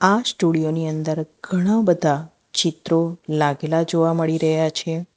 આ સ્ટુડિયો ની અંદર ઘણા બધા ચિત્રો લાગેલા જોવા મળી રહ્યા છે.